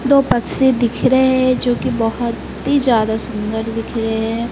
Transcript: दो पक्षी दिख रहे हैं जो की बहोत ही ज्यादा सुंदर दिख रहे हैं।